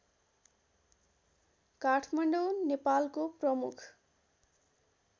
काठमाडौँ नेपालको प्रमुख